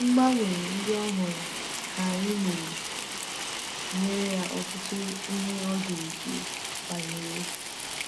Mgbanwe ndị ọ hụrụ ka anyị mere nyere ya ọtụtụ ihe ọ ga-eche banyere.